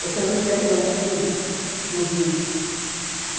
Você não enxerga o fundo do rio e.